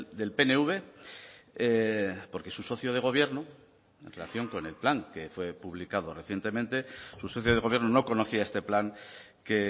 del pnv porque su socio de gobierno en relación con el plan que fue publicado recientemente su socio de gobierno no conocía este plan que